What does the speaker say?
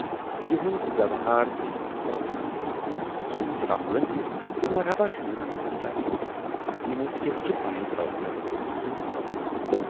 یِہُند وٮ۪وہار تہٕ یِہٕنز پرزنتھ وُچھِتھ سوٗنچ راہُلن زِ، مرحباچھُ یِمن مدراسن زِ یِمو کِتھٕ چھِ پنٕنۍ پرزتھ زِندٕ تھٲومٕژ